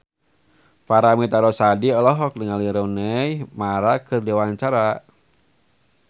Paramitha Rusady olohok ningali Rooney Mara keur diwawancara